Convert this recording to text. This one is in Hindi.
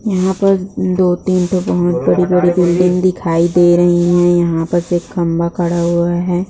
यहाँ पर दो-तीन ठो बहुत बड़ी-बड़ी बिल्डिंग दिखाई दे रही है| यहाँ पर से एक खम्बा खड़ा हुआ है।